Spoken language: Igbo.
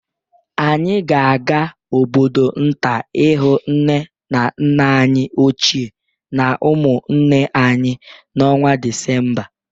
Anyị ga-aga obodo nta ịhụ nne na nna anyị ochie na ụmụnne anyị n'ọnwa Disemba